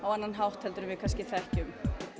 annan hátt en við þekkjum